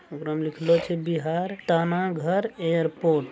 उपरो में लिखलो की बिहार तानाघर एयरपोर्ट --